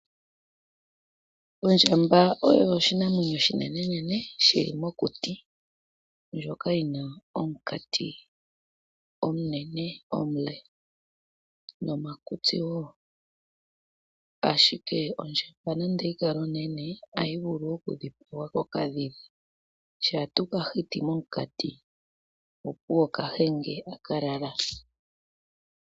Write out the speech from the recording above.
Ondjamba oyo oshinamwenyo oshinenenene shili mokuti ndjoka yina omukati omunene omule nomakutsi woo. Ashike ondjamba nande oyikale onene ohayi vulu okudhipagwa kokadhidhi shampa tuu kahiti momukati opuwo kahenge aka lala.